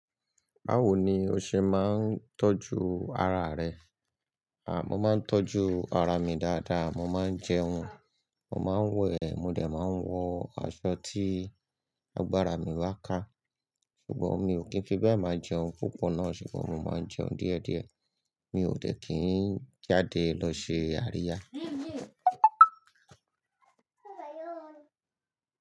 Báwo ni o ṣe máa ń tọ́jú ara rẹ? À, mo máa ń tọ́jú ara mi dáadáa. Mo máa ń jẹun, mo máa ń wẹ̀, mo dẹ̀ máa ń wọ aṣọ tí agbára mi ba ká. Ṣùgbọ́n mi ò kí ń fi bẹ́ẹ̀ máa jẹun púpọ̀ náà ṣùgbọ́n mo máa ń jẹun díẹ̀díẹ̀. Mi ò dẹ̀ kí ń jáde lọ ṣe àríyá.